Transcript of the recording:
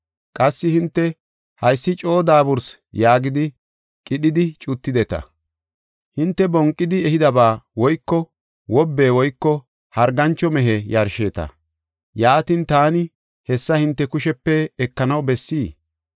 Qassi hinte, ‘Haysi coo daabursi’ yaagidi, qidhidi cuttideta. “Hinte bonqidi ehidaba woyko wobe woyko hargancho mehe yarsheeta; yaatin, taani hessa hinte kushepe ekanaw bessii?